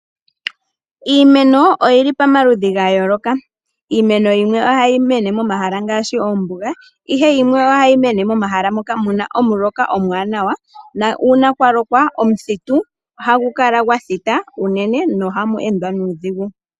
Iimeno oyili pamaludhi ga yooloka .Iimeno yimwe ohayi mene momahala ngaashi ombuga ihe yimwe ohayi mene momahala moka muna omuloka omwaanawa na uuna kwaloka omuthitu ohagu kala gwa thita unene nohamu endwa nuudhigu.